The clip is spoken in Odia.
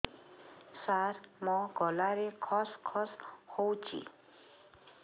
ସାର ମୋ ଗଳାରେ ଖସ ଖସ ହଉଚି